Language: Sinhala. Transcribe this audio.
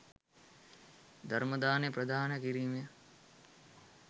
ධර්ම දානය ප්‍රදානය කිරීමෙන්